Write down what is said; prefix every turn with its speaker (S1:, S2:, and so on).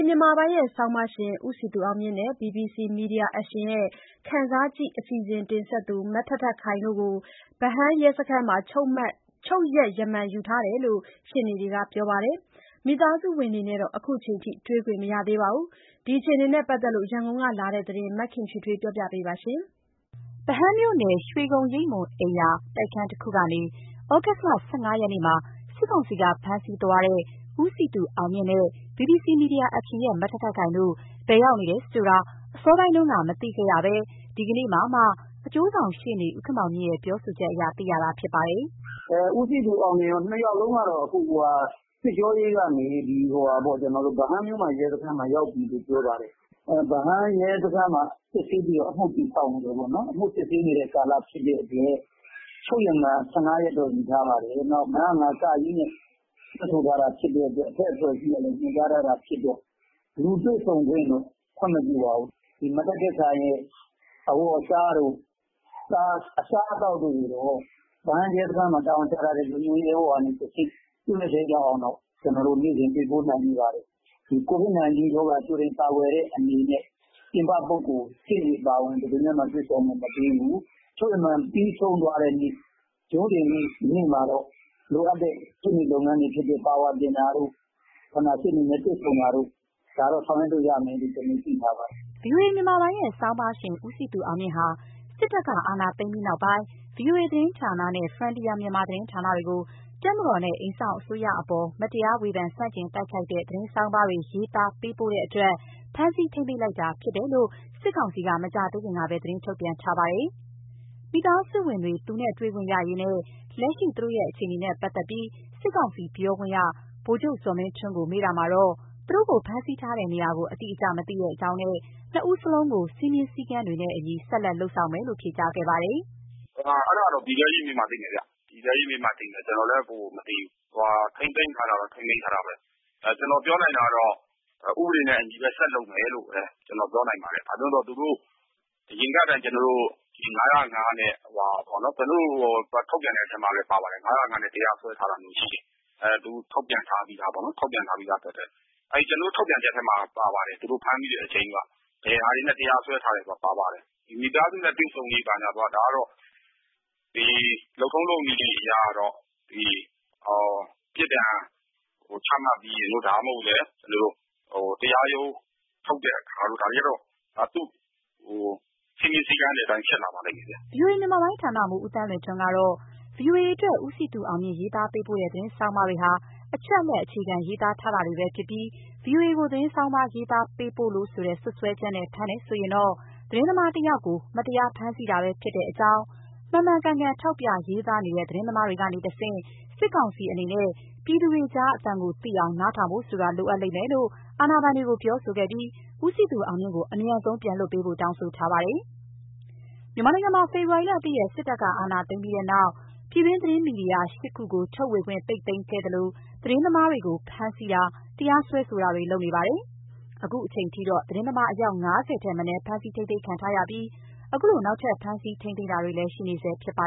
S1: မြန်မာပိုင်းရဲ့ဆောင်းပါးရှင် ဦးစည်သူအောင်မြင့်နဲ့ BBC Media Action ရဲ့ ခံစားကြည့် အစီအစဉ် တင်ဆက်သူ မထက်ထက်ခိုင်တို့ကို ဗဟန်းရဲစခန်းမှာ ချုပ်ရက်ရမန်ယူထားတယ်လို့ ရှေ့နေတွေကပြောပါတယ်။ မိသားစုဝင်တွေနဲ့တော့ ခုချိန်ထိ တွေ့ခွင့်မရသေးပါဘူး။ ဒီအခြေအနေနဲ့ပတ်သက်ပြီး ရန်ကုန်ကလာတဲ့သတင်းကို မခင်ဖြူထွေးကပြောပြပါမယ်။ ဗဟန်းမြို့နယ်၊ ရွှေဂုံရိပ်မွန်အိမ်ယာ တိုက်ခန်းတခုကနေ သြဂုတ်လ ၁၅ ရက်နေ့မှာ စစ်ကောင်စီက ဖမ်းဆီးသွားတဲ့ ဦးစည်သူအောင်မြင့်နဲ့ BBC Media Action ရဲ့ မထက်ထက်ခိုင်တို့ ဘယ်ရောက်နေတယ်ဆိုတာ အစောပိုင်းက မသိခဲ့ရဘဲ ဒီကနေ့မှသာ အကျိုးဆောင်ရှေ့နေ ဦးခင်မောင်မြင့်ရဲ့ ပြောဆိုချက်အရ သိခဲ့ရတာဖြစ်ပါတယ်
S2: ။ "ဦးစည်သူအောင်မြင့်ကော နှစ်ယောက်လုံးကတော့ စစ်ကြောရေးကနေ ဗဟန်းမြို့မရဲစခန်းကို ရောက်နေတယ်လို့ သိရပါတယ်။ ဗဟန်းရဲစခန်းမှာ စစ်ဆေးပြီး အမှုတည်ဆောက်နေတယ်။ အမှုစစ်ဆေးနေဆဲကာလဖြစ်တဲ့အတွက် ချုပ်ရမန် ၁၅ရက်တော့ ယူထားပါတယ်။ နောက် ၅၀၅ (က) နဲ့ ဆွဲထားတာဖြစ်လို့ နောက်အထက်အဖွဲ့အစည်းကလည်း ညွှန်ကြားထားလို့ လူတွေ့ဆုံခွင့်တော့ မရသေးပါဘူး။ မထက်ထက်ခိုင် အဝတ်အစားတို့ အစားအသောက်တို့ကိုတော့ တာဝန်ကျ လုံခြုံရေးရဲဘော်ကတဆင့် ပေးလို့ရပါတယ်။ ကိုဗစ်ကြိုတင်ကာကွယ်တဲ့အနေနဲ့ ပြင်ပလူနဲ့ကော ရှေ့နေအပါအဝင် ဘယ်သူနဲ့မှ တွေ့ခွင့်မပေးဘူး။ ချုပ်ရမန်ပြီးရင် ရုံးတင်ရင်တော့ ရှေ့နေပါဝါယူဖို့၊ တွေ့ဖို့ ဆောင်ရွက်ရမယ် သိထားပါတယ်။
S1: " ဗွီအိုအေမြန်မာပိုင်းရဲ့ဆောင်းပါးရှင် ဦးစည်သူအောင်မြင့်ဟာ စစ်တပ်က အာဏာသိမ်းပြီးနောက်ပိုင်း VOA သတင်းဌာနနဲ့ Frontier Myanmar သတင်းဌာနတွေကို တပ်မတော်နဲ့ အိမ်စောင့်အစိုးရအပေါ် မတရား ဝေဖန်ဆန့်ကျင်တိုက်ခိုက်တဲ့ သတင်းဆောင်းပါးတွေ ရေးသားပေးပို့တဲ့အတွက် ဖမ်းဆီး ထိန်းသိမ်းလိုက်တာဖြစ်တယ်လို့ စစ်ကောင်စီက မကြာသေးခင်ကပဲ သတင်း ထုတ်ပြန်ထားပါတယ်။ မိသားစုဝင်တွေ သူတို့နဲ့တွေ့ခွင့်ရရေးနဲ့ လက်ရှိ သူတို့အခြေအနေတွေနဲ့ပတ်သက်ပြီး စစ်ကောင်စီပြောခွင့်ရ ဗိုလ်ချုပ်ဇော်မင်းထွန်းကို မေးတာမှာတော့ သူတို့ကို ဖမ်းဆီးထားတဲ့နေရာကို အတိအကျ မသိကြောင်းနဲ့ နှစ်ဦးစလုံးကို စည်းမျဉ်းစည်းကမ်းတွေနဲ့အညီ ဆက်လက်လုပ်ဆောင်မယ်လို့ ဖြေကြားခဲ့ပါတယ်။
S3: "အဲဒါတော့ပြည်တဲရေးမေးမှသိမယ်ဗျ။ ကျနော်လည်းမသိဘူး။ ထိန်းသိမ်းထားတာတော့ ထိန်းသိမ်းထားတာဘဲ။ ကျနော်ပြောနိုင်တာကတော့ ဥပဒေနဲ့အညီ ဆက်လုပ်မယ်လို့ ကျနော် ပြောနိုင်ပါတယ်။ ဘာလို့လည်းဆိုတော့ သူတို့ အရင်ကလည်း ၅၀၅ နဲ့ပေါ့နော်၊ ကျနော်တို့ ထုတ်ပြန်တဲ့အထဲပါပါတယ်။ ကျနော်တို့ထုတ်ပြန်ထားတဲ့အထဲပါပါတယ်။ ဘာတွေနဲ့ တရားစွဲထားလဲဆိုတာပါပါတယ်။ မိသားစုနဲ့တွေ့ဆုံရေး ဘာညာကတော့ လုပ်ထုံးလုပ်နည်းနဲ့အရကတော့ ပြစ်ဒဏ်ချမှတ်ပြီး၊ ဒါမှမဟုတ် တရားရုံးထုတ်တဲ့အခါတို့ စည်းမျဉ်းစည်းကမ်းတွေအတိုင်းဖြစ်လာပါလိမ့်မယ်
S1: ။" ဗွီအိုအေ မြန်မာပိုင်းဌာနမှူး ဦးသန်းလွင်ထွန်းကတော့ ဗွီအိုအေအတွက် ဦးစည်သူအောင်မြင့် ရေးသားပေးပို့တဲ့ သတင်းဆောင်းပါးတွေဟာ အချက်အလက်အခြေခံ ရေးသားထားတာတွေပဲဖြစ်ပြီး ဗွီအိုအေကို သတင်းဆောင်းပါး ရေးသားပေးပို့လို့ ဆိုတဲ့စွပ်စွဲချက်နဲ့ ဖမ်းတယ်ဆိုရင်တော့ သတင်းသမားတယောက်ကို မတရားဖမ်းဆီးတာပဲဖြစ်တဲ့အကြောင်း၊ မှန်မှန်ကန်ကန် ထောက်ပြရေးသားနေတဲ့ သတင်းသမားတွေကနေတဆင့် စစ်ကောင်စီအနေနဲ့ ပြည်သူတွေကြားကအသံကို သိအောင် နားထောင်ဖို့ဆိုတာ လိုအပ်လိမ့်မယ်လို့ အာဏာပိုင်တွေကိုပြောခဲ့ပြီး ဦးစည်သူအောင်မြင့်ကို အမြန်ဆုံးလွှတ်ပေးဖို့ တောင်းဆိုထားပါတယ်။ မြန်မာနိုင်ငံမှာ ဖေဖော်ဝါရီလ ၁ ရက်နေ့ စစ်တပ်က အာဏာသိမ်းပြီးတဲ့နောက် ပြည်တွင်းမီဒီယာ ၈ ခုကို ထုတ်ဝေခွင့် ပိတ်သိမ်းခဲ့သလို သတင်းသမားတွေကို ဖမ်းဆီးတာ၊ တရားစွဲဆိုတာတွေ လုပ်နေတာပါတယ်။ ခုချိန်ထိဆိုရင် သတင်းသမား အယောက် ၅၀ ထက်မနည်း ဖမ်းဆီးထိန်းသိမ်းခံထားရပြီး အခုလို နောက်ထပ် ဖမ်းဆီးတာတွေလည်း ဆက်ရှိနေဆဲဖြစ်ပါ